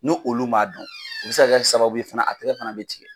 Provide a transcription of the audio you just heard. Nu olu m'a dɔn u bɛ se ka kɛ hali sababu ye fana a tɛgɛ fana bɛ tigɛ.